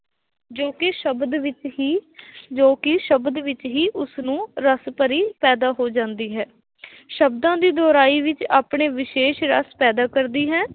ਜੋ ਕਿ ਸ਼ਬਦ ਵਿੱਚ ਹੀ ਜੋ ਕਿ ਸ਼ਬਦ ਵਿੱਚ ਹੀ ਉਸਨੂੰ ਰਸ ਭਰੀ ਪੈਦਾ ਹੋ ਜਾਂਦੀ ਹੈ ਸ਼ਬਦਾਂ ਦੀ ਦੁਹਰਾਈ ਵਿੱਚ ਆਪਣੇ ਵਿਸ਼ੇਸ਼ ਰਸ ਪੈਦਾ ਕਰਦੀ ਹੈ।